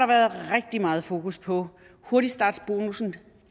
været rigtig meget fokus på hurtigstartsbonussen på